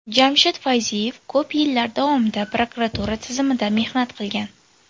Jamshid Fayziyev ko‘p yillar davomida prokuratura tizimida mehnat qilgan.